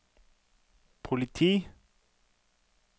politi